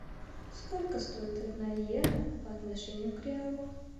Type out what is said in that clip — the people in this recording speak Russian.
сколько стоит одна иена по отношению к реалу